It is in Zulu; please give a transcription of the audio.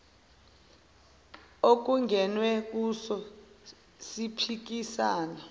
okungenwe kuso siphikisana